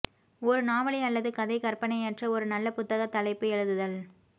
ஒரு நாவலை அல்லது கதை கற்பனையற்ற ஒரு நல்ல புத்தக தலைப்பு எழுதுதல்